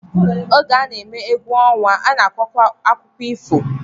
Oge a na-emekwa egwu ọnwa, a na-akọkwa akụkọ ifo